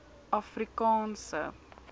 afrikaanse